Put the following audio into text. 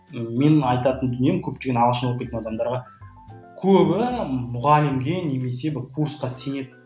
менің айтатын дүнием көптеген ағылшын оқитын адамдарға көбі мұғалімге немесе бір курсқа сенеді